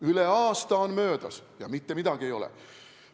Üle aasta on möödas ja mitte midagi ei ole.